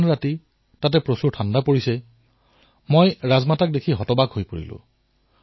সেই হিমচেঁচা শীতত ৰাজমাতাক দেখি মই হায়ৰাণ হৈ পৰিলো